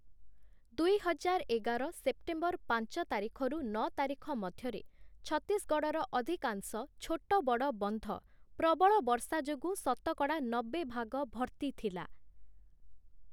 ଦୁଇହଜାର ଏଗାର ସେପ୍ଟେମ୍ବର ପାଞ୍ଚ ତାରିଖରୁ ନଅ ତାରିଖ ମଧ୍ୟରେ ଛତିଶଗଡ଼ର ଅଧିକାଂଶ ଛୋଟ ବଡ଼ ବନ୍ଧ ପ୍ରବଳ ବର୍ଷା ଯୋଗୁଁ ଶତକଡ଼ା ନବେ ଭାଗ ଭର୍ତ୍ତି ଥିଲା ।